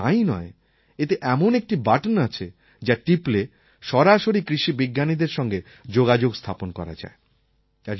শুধু তাই নয় এতে এমন একটি বাটন আছে যা টিপলে সরাসরি কৃষি বিজ্ঞানীদের সঙ্গে যোগাযোগ স্থাপন করা যায়